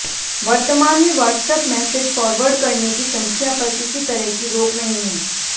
वर्तमान में WhatsApp message forward करने की संख्या पर किसी तरह की रोक नहीं है